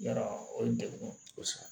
Yarɔ o ye degun kosɛbɛ